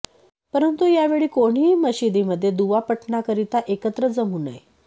परंतू यावेळी कोणीही मशिदीमध्ये दुवा पठणाकरीता एकत्र जमू नये